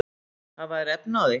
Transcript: Hafa þeir efni á því?